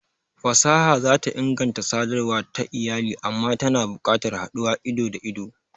Fasaha za ta inganta sadarwa ta iyali amma tana buƙatar haduwa ido-da-ido.